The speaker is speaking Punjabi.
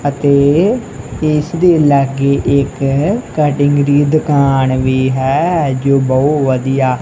ਅਤੇ ਇੱਸ ਦੇ ਲੱਗੇ ਇੱਕ ਕਟਿੰਗ ਦੀ ਦੁਕਾਨ ਵੀ ਹੈ ਜੋ ਬਹੁਤ ਵਧੀਆ--